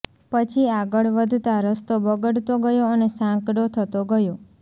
પછી આગળ વધતા રસ્તો બગડતો ગયો અને સાંકડો થતો ગયો